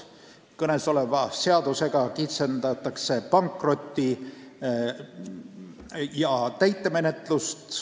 Kõnesoleva seadusega kitsendatakse pankroti- ja täitemenetlust.